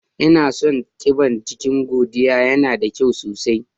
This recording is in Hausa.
Ina son ƙiban jiƙin Godiya, yana da ƙyau sosai.